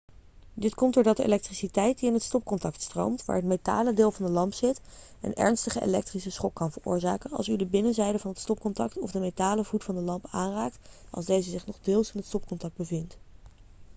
dit komt doordat de elektriciteit die in het stopcontact stroomt waar het metalen deel van de lamp zit een ernstige elektrische schok kan veroorzaken als u de binnenzijde van het stopcontact of de metalen voet van de lamp aanraakt als deze zich nog deels in het stopcontact bevindt